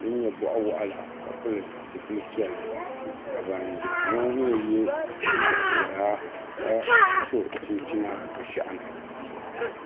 din nyɛ bɔɣu waɣila ka pili zipili piɛlli ka ban ʒiya ŋɔ mi ye liiga piɛla ka so chinchina bɛ shɛhi ni.